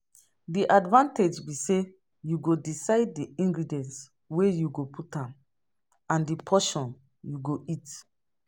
Di advantage be say you go decide di ingredients wey you go put am and di portion you go eat.